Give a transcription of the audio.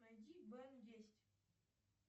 найди бен десять